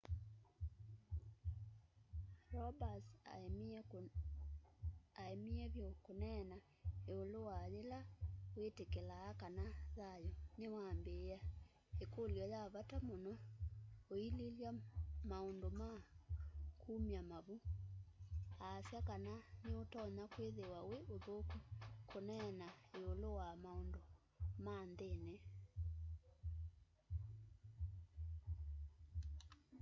roberts aemie vyu kuneena iulu wa yila witikilaa kana thayu niwambiia ikulyo ya vata muno uililya maundu ma kumya mavu aasya kana ni utonya kwithiwa wi uthuku kuneena iulu wa maundu ma nthini